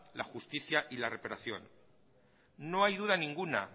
la justicia y la no hay duda ninguna